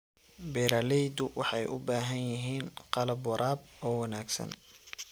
Beeraleydu waxay u baahan yihiin qalab waraab oo wanaagsan.